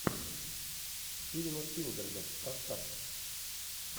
стивена спилберга поставь